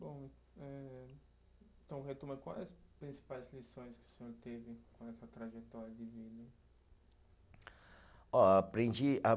Bom, eh então retoma, quais as principais lições que o senhor teve com essa trajetória de vida? Ó, aprendi a